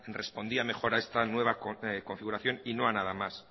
respondía mejor a esta nueva configuración y no a nada más